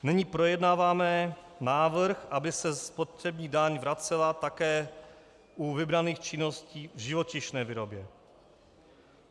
Nyní projednáváme návrh, aby se spotřební daň vracela také u vybraných činností v živočišné výrobě.